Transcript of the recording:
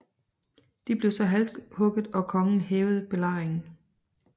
De blev så halshugget og kongen hævede belejringen